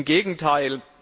Im Gegenteil!